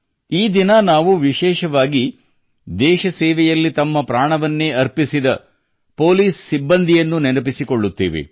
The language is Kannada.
ಈ ದಿನ ನಾವು ವಿಶೇಷವಾಗಿ ದೇಶ ಸೇವೆಯಲ್ಲಿ ತಮ್ಮ ಪ್ರಾಣವನ್ನೇ ಅರ್ಪಿಸಿದ ಪೊಲೀಸ್ ಸ್ನೇಹಿತರನ್ನು ನೆನಪಿಸಿಕೊಳ್ಳುತ್ತೇವೆ